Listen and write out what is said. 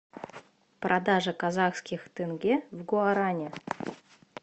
продажа казахских тенге в гуарани